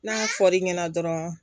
N'a fɔr'i ɲɛna dɔrɔn